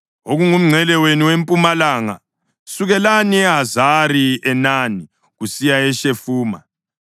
Okomngcele wenu wempumalanga, sukelani eHazari-Enani kusiya eShefamu.